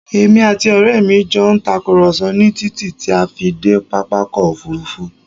Èmi àti ọrẹ mi jọ ń tàkùrọ̀sọ ni títí ti a fi dé pápákọ̀ Òfurufú